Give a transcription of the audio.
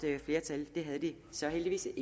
flertal det havde de så heldigvis